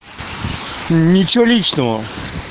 ничего личного